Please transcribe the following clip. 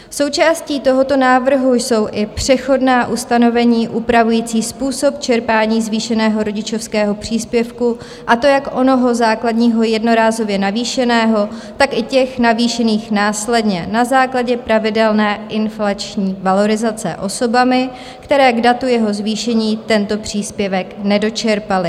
Součástí tohoto návrhu jsou i přechodná ustanovení upravující způsob čerpání zvýšeného rodičovského příspěvku, a to jak onoho základního jednorázově navýšeného, tak i těch navýšených následně na základě pravidelné inflační valorizace osobami, které k datu jeho zvýšení tento příspěvek nedočerpaly.